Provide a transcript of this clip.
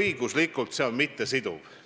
õiguslikult mittesiduv.